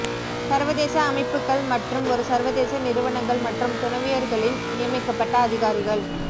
சர்வதேச அமைப்புக்கள் மற்றும் ஒரு சர்வதேச நிறுவனங்கள் மற்றும் துணைவியர்களின் நியமிக்கப்பட்ட அதிகாரிகள்